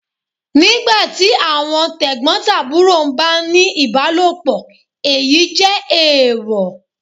Nígbà tí àwọn t'ẹ̀gbọ̀ntàbúrò ń bá a ní ìbálòpọ̀, èyí jẹ́ èèwọ̀.